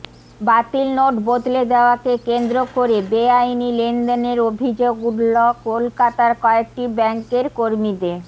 বাতিল নোট বদলে দেওয়াকে কেন্দ্র করে বেআইনি লেনদেনের অভিযোগ উঠল কলকাতার কয়েকটি ব্যাঙ্কের কর্মীদের